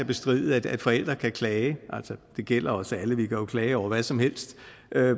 bestride at forældre kan klage det gælder os alle vi kan jo klage over hvad som helst